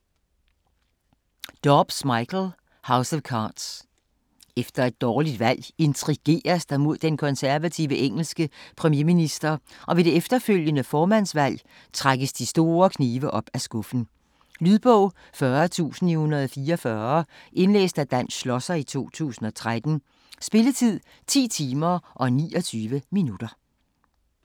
Dobbs, Michael: House of cards Efter et dårligt valg intrigeres der mod den konservative engelske premierminister og ved det efterfølgende formandsvalg trækkes de store knive op af skuffen. Lydbog 40944 Indlæst af Dan Schlosser, 2013. Spilletid: 10 timer, 29 minutter.